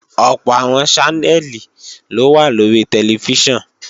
Ọ̀pọ̀ àwọn Ṣánẹ́lì ló wà lórí tẹlifíṣàn